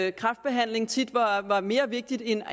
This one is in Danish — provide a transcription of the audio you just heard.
at kræftbehandling tit var mere vigtig end